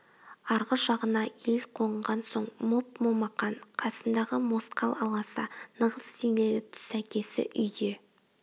арғы жағына ел қонған соң моп-момақан қасындағы да мосқал аласа нығыз денелі түс әкесі үйде